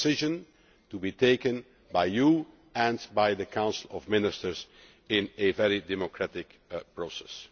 This is a decision to be taken by you and by the Council of Ministers in a very democratic process.